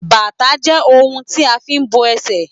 bàtà je oun ti a fi n bo esè